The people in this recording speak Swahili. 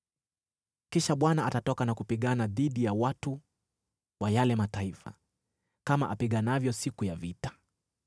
Kisha Bwana atatoka na kupigana dhidi ya watu wa yale mataifa, kama apiganavyo siku ya vita.